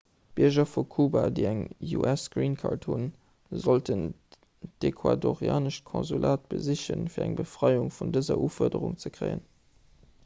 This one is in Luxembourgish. d'bierger vu kuba déi eng us-green-card hunn sollten d'ecuadorianescht konsulat besichen fir eng befreiung vun dëser ufuerderung ze kréien